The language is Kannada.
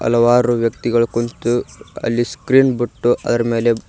ಹಲವಾರು ವ್ಯಕ್ತಿಗಳು ಕುತ್ತು ಅಲ್ಲಿ ಸ್ಕ್ರೀನ್ ಬಿಟ್ಟು ಅದರ ಮೇಲೆ.